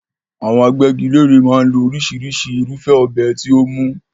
Àwọn agbẹ́gilére máa ń lo oríṣìíríṣìí irúfẹ́ ọ̀bẹ tí ó mú.